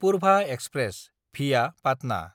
Purva express (via Patna)